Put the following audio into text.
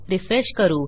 refresh करू